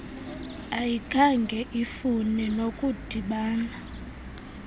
ayikhange ifune nokudibana